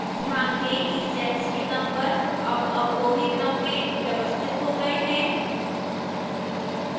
ध्यान दें कि cells के numbers अब अवरोही क्रम में व्यवस्थित हो गए हैं